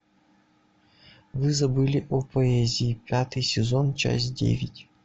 вы забыли о поэзии пятый сезон часть девять